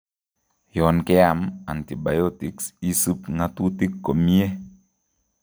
Yon keam antibiotics isib ng'atutik komyee